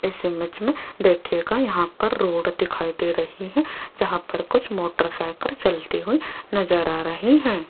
इस इमेज में देखिएगा यहां पर रोड दिखाई दे रही हैं जहां पर कुछ मोटरसाइकिल चलती हुई नजर आ रही हैं।